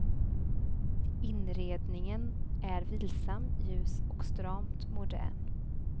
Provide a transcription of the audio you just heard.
Inredningen är vilsam, ljus och stramt modern.